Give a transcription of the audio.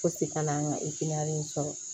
Fosi kana n ka in sɔrɔ